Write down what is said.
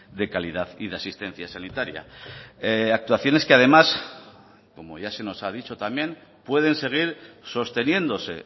de calidad y de asistencia sanitaria actuaciones que además como ya se nos ha dicho también pueden seguir sosteniéndose